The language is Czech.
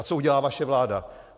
A co udělá vaše vláda?